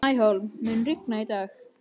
Snæhólm, mun rigna í dag?